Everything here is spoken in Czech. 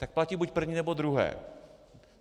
Tak platí buď první, nebo druhé.